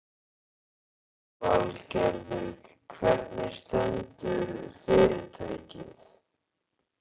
Lillý Valgerður: Hvernig stendur fyrirtækið?